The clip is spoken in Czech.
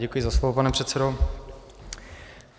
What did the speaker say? Děkuji za slovo, pane předsedo.